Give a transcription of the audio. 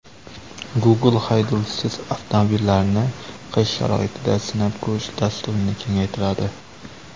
Google haydovchisiz avtomobillarini qish sharoitida sinab ko‘rish dasturini kengaytiradi.